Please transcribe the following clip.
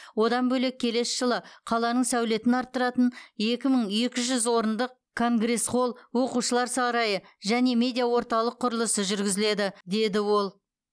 одан бөлек келесі жылы қаланың сәулетін арттыратын екі мың екі жүз орындық конгресс холл оқушылар сарайы және медиа орталық құрылысы жүргізіледі деді ол